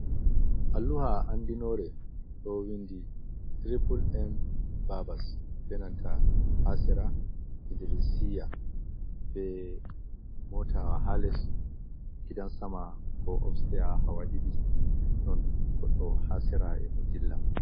Alluha andinore do windi triple M barbers. ɓe nanta ha sera idrisiya. Be motawa ha les gidan-sama ko upstairs hawa didi. Non goɗɗo ha sera e' mo dilla.